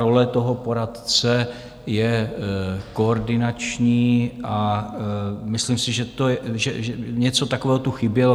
Role toho poradce je koordinační a myslím si, že něco takového tu chybělo.